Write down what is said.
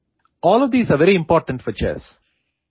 all of these are very important for chess